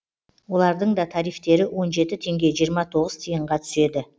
олардың да тарифтері он жеті теңге жиырма тоғыз тиынға түседі